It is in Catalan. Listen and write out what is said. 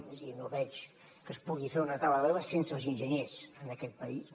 és a dir no veig que es pugui fer una taula de l’aigua sense els enginyers en aquest país